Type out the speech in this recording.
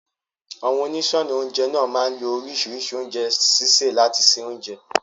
Àwọn oníṣọ́ọnà oúnjẹ náà máa lo oríṣìíríṣìí ọ̀nà oúnjẹ sísè láti se oúnjẹ.